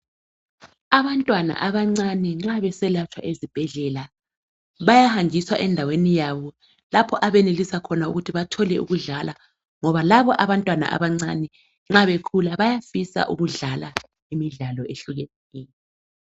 abantwana abancane nxa beselatshwa esibhedlela bayahanjiswa endaweni yabo lapho abayenelisa khona ukuthi bathole ukudlala ngoba laba abantwana abancane nxa besakhula bayafisa ukudlala imidlalo ehlukeneyo.